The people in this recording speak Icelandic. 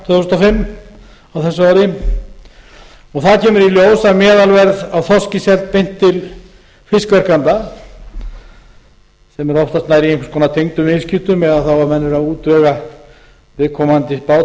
þúsund og fimm á þessu ári það kemur í ljós að meðalverð á þorski fer beint til fiskverkanda sem er oftast nær í einhvers konar tengdum viðskiptum eða þá að menn eru að útvega viðkomandi bát sem landar hjá